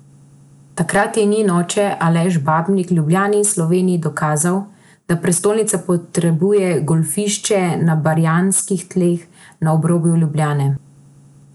Takrat je njen oče, Aleš Babnik, Ljubljani in Sloveniji dokazal, da prestolnica potrebuje golfišče na barjanskih tleh na obrobju Ljubljane.